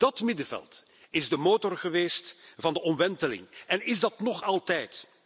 Dat middenveld is de motor geweest van de omwenteling en is dat nog altijd.